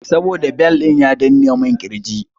Saboda bel ɗin ya danne mun ƙirji.